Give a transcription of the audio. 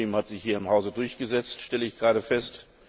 hat sich hier im Haus durchgesetzt, stelle ich gerade fest.